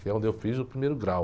Que é onde eu fiz o primeiro grau.